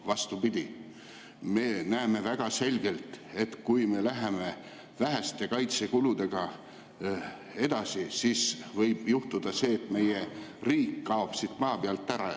Vastupidi, me näeme väga selgelt, et kui me läheme väheste kaitsekuludega edasi, siis võib juhtuda see, et meie riik kaob siit maa pealt ära.